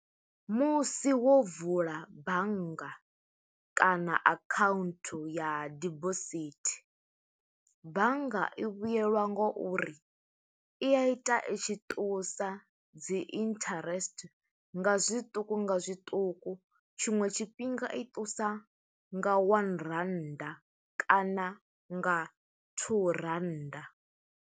Musi wo vula bannga, kana account ya dibosithi. Bannga i vhuyelwa ngo uri, i a ita i tshi ṱusa dzi interest nga zwiṱuku nga zwiṱuku. Tshiṅwe tshifhinga i ṱusa nga one rannda, kana nga two rannda.